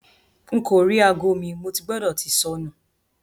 Nko ri aago mi; Mo ti gbọdọ ti sọnu